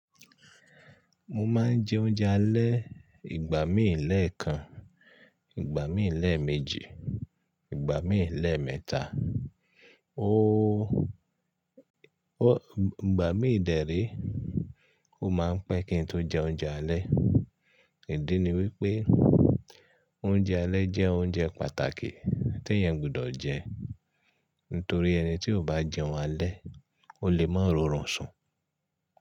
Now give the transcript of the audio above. Mo máa ń jẹ oúnjẹ alẹ́ ìgbà míì lẹ́ẹ̀kan, ìgbà míì lẹ́ẹ̀ méjì, ìgbà míì lẹ́ẹ̀ mẹ́ta, óóò, ìgbà míì dẹ́ ree, ó máa ń pẹ́ kí n tó jẹ oúnjẹ alẹ́. Ìdí ni wípé oúnjẹ alẹ́ jẹ́ oúnjẹ pàtàkì tí èèyàn gbọdọ̀ jẹ nítorí ẹni tí ò bá jẹun alẹ́, ó lè máa rọrùn sùn.